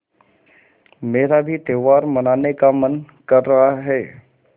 मेरा भी त्यौहार मनाने का मन कर रहा है